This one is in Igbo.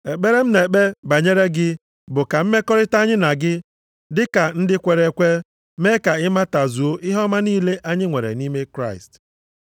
Ekpere m na-ekpe banyere gị bụ ka mmekọrịta anyị na gị dịka ndị kwere ekwe, mee ka ị matazuo ihe ọma niile anyị nwere nʼime Kraịst.